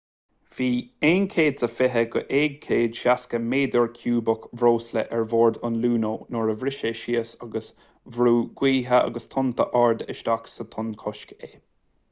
bhí 120-160 méadar ciúbach breosla ar bord an luno nuair a bhris sé síos agus bhrúigh gaotha agus tonnta arda isteach sa tonnchosc é